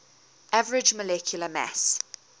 average molecular mass